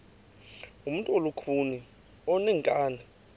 ngumntu olukhuni oneenkani